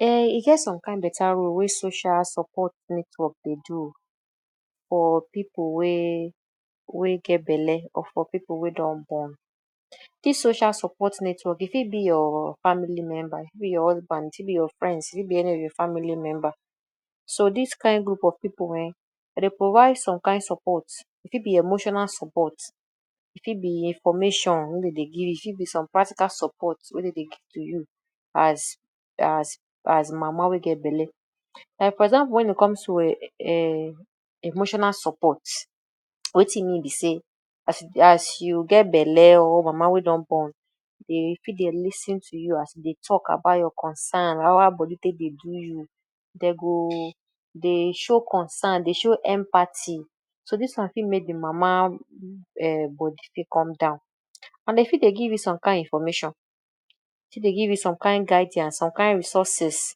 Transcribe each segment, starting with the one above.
Um e get some kain better role wey social support network dey do oo for pipu wey wey get belle or for pipu wey don born. Dis social support network e fit be your family member, e fit be your husband, e fit be your friends, e fit be any of your family member. So dis kain group of pipu um dem dey provide some kain support; e fit be emotional support, e fit be information wey dem dey give, e fit be some practical support wey dem dey give to you as as as mama wey get belle. Like for example wen it comes to um um emotional support wetin e mean be sey? as you get belle or mama wey don born dey fit dey lis ten to you as you dey talk about your concern; how how body take dey do you, dem go dey show concern, dey show empathy. So dis one fit make the mama um body fit come down and dem fit dey give you some kain information, dey fit dey give you some kain guidance, some kain resources.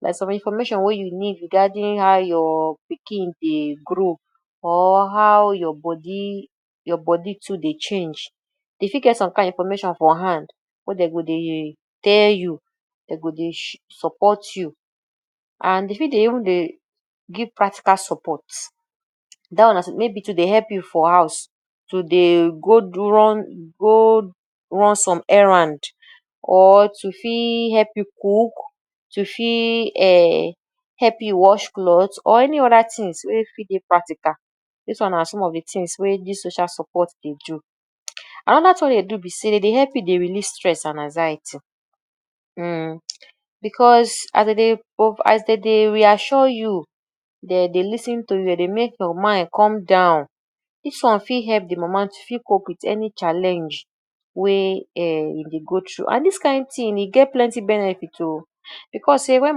Like some information wey you need regarding how your pikin dey grow or how your body your body too dey change. Dey fit get some kain information for hand wey dem go dey tell you, dey go dey support you and dey fit dey even dey give practical support. Dat one na maybe to dey help you for house, to dey go go run some errand or to fit help you cook, to fit um help you wash clothes or any other things wey fit dey practical, dis one na some of the things wey dis social support dey do. Another thing wey dem dey do be sey dem dey help you dey release stress and anxiety, um, because as dey dey as dey dey reassure you, dey dey lis ten to you dem dey make your mind come down. Dis one fit help de mama fit cope wit any challenge wey um e dey go through and dis kain thing, e get plenty benefit oo because sey wen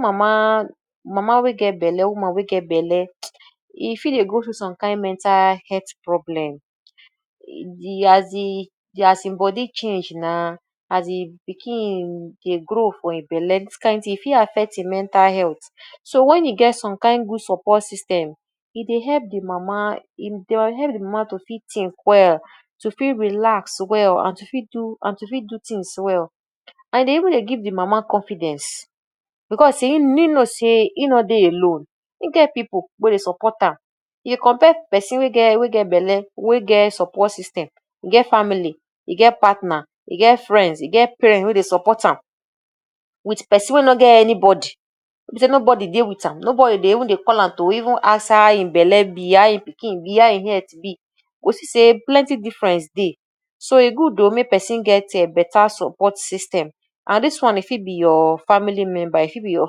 mama, mama wey get belle woman wey get belle e fit dey go through some kain mental health problem, as im body change na as e pikin dey grow for im belle dis kain thing e fit affect hin mental health. So wen e get some kain good support system, e dey help de mama, e dey help de mama to fit think well to fit relax well and to fit do and to fit do things well. And e dey even dey give de mama confidence because sey im know sey e know dey alone, e get pipu wey dey support am. you compare person wey get wey get belle wey get support system, get family, e get partner, e get friends, e get parents wey dey support am wit person wey no get anybody, wey be sey nobody dey wit am, nobody dey even dey call am to even ask how im belle be, how im pikin be, how im health be you go see sey plenty difference dey. So e good oo make person get um better support system and dis one e fit be your family member, e fit be your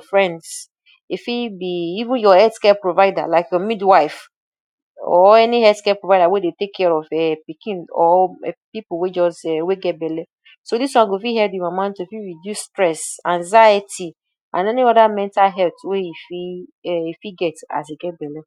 friends, e fit be even your health care provider like midwife or any healthcare provider wey dey take care of um pikin or um pipu wey just um wey get belle. So dis one go fit help de mama to fit reduce stress, anxiety and any other mental health wey e fit um e fit get as e get belle.